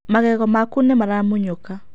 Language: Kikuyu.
Magego maku nĩ maramunyuka.